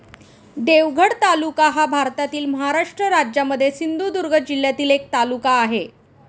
देवगड तालुका हा भारतातील महाराष्ट्र राज्यामध्ये सिंधुदुर्ग जिल्ह्यातील एक तालुका आहे.